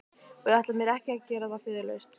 Og ég ætla mér ekki að gera það föðurlaust.